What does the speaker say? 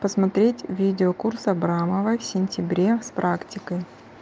посмотреть видеокурс абрамовой в сентябре с практикой